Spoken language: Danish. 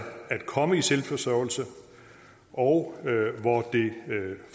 komme i selvforsørgelse og